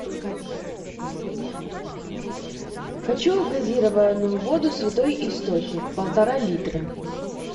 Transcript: хочу газированную воду святой источник полтора литра